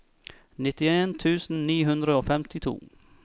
nittien tusen ni hundre og femtito